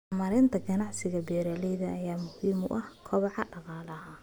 Horumarinta ganacsiga beeralayda ayaa muhiim u ah kobaca dhaqaalaha.